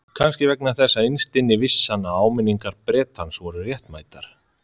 Kannski vegna þess að innst inni vissi hann að áminningar Bretans voru réttmætar.